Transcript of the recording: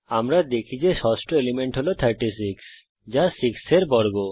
আমরা দেখি যে ষষ্ঠ এলিমেন্ট হল 36 যা 6 এর বর্গ